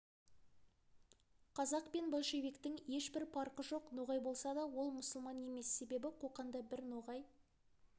қазақ пен большевиктің ешбір парқы жоқ ноғай болса ол мұсылман емес себебі қоқанда бір ноғай